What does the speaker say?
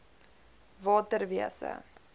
waterwese